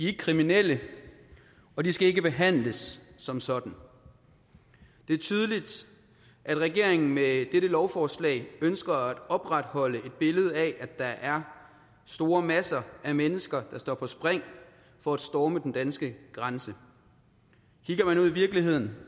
ikke kriminelle og de skal ikke behandles som sådan det er tydeligt at regeringen med dette lovforslag ønsker at opretholde et billede af at der er store masser af mennesker der står på spring for at storme den danske grænse kigger man ud i virkeligheden